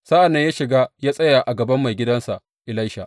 Sa’an nan ya shiga ya tsaya a gaban maigidansa Elisha.